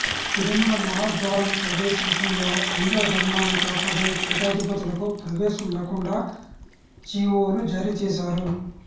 తిరుమల మహాద్వారం ప్రవేశం విషయంలో హైందవ ధర్మాన్ని కాపాడే పీఠాధిపతులకు ప్రవేశం లేకుండా జీఓలు జారీ చేశారు